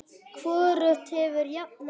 Hvorugt hefur jafnað sig.